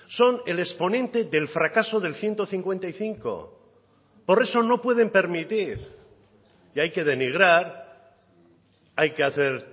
son el exponente del fracaso del ciento cincuenta y cinco por eso no pueden permitir y hay que denigrar hay que hacer